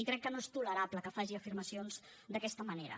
crec que no és tolerable que faci afirmacions d’aquesta manera